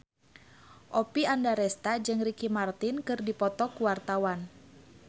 Oppie Andaresta jeung Ricky Martin keur dipoto ku wartawan